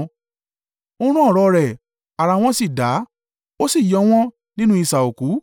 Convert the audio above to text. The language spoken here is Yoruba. Ó rán ọ̀rọ̀ rẹ̀, ara wọn sì dá ó sì yọ wọ́n nínú isà òkú.